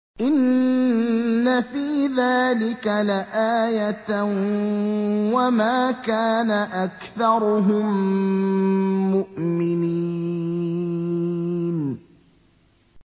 إِنَّ فِي ذَٰلِكَ لَآيَةً ۖ وَمَا كَانَ أَكْثَرُهُم مُّؤْمِنِينَ